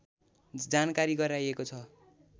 जानकारी गराइएको छ